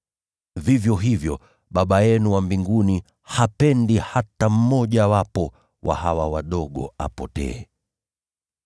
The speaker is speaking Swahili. Vivyo hivyo, Baba yenu wa mbinguni hapendi hata mmojawapo wa hawa wadogo apotee.